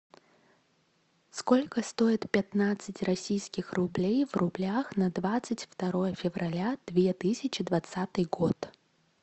сколько стоит пятнадцать российских рублей в рублях на двадцать второе февраля две тысячи двадцатый год